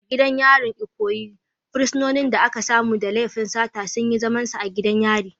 A gidan yarin Ikoyi, fursunonin da aka samu da laifin sata sun yi zamansu a gidan yari.